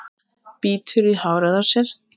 Bítur í hárið á sér.